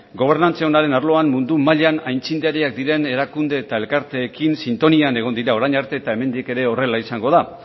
gobernantza onaren arloan mundu mailan aitzindariak diren erakunde eta elkarteekin sintonian egon dira orain arte eta hemendik ere horrela izango da